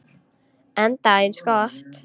Enda eins gott.